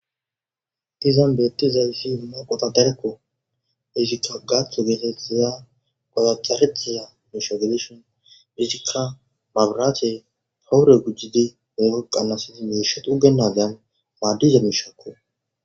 dizon beettizayssi mooqota darekko hizikka gaatho geetet ziza godacharetiya misha gelishon dizikka mabiraache powure gujidi eegoqanasidi meisha dugenadyan maaddiza mishakko